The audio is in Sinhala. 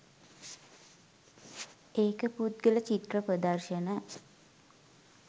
ඒක පුද්ගල චිත්‍ර ප්‍රදර්ශන